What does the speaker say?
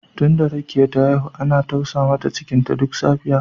Tunda Rekiya ta haihu ana tausa mata cikinta duk safiya